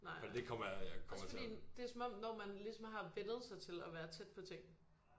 Nej også fordi det er som om når man ligesom har vænnet sig til at være tæt på ting